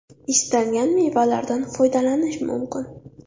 Istalgan mevalardan foydalanish mumkin.